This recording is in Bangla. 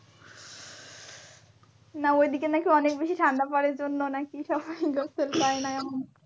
না ঐদিকে নাকি অনেক বেশি ঠান্ডা পরে জন্য নাকি সবাই গোসল করেনা এমন।